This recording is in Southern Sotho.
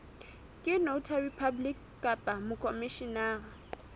ke notary public kapa mokhomishenara